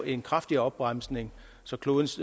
en kraftigere opbremsning så klodens